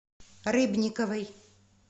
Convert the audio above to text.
рыбниковой